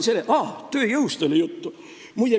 Tööjõust oli ka juttu.